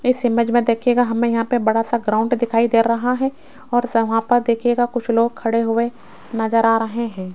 इस इमेज में देखियेगा हमें यहां पे बड़ा सा ग्राउंड दिखाई दे रहा है और वहां पर देखियेगा कुछ लोग खड़े हुए नजर आ रहे हैं।